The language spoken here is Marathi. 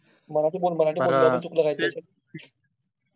मराठी बोल मराठी बोल माझं चुकलं काय तरी